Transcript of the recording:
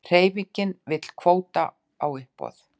Hreyfingin vill kvóta á uppboð